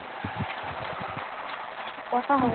কথা হয়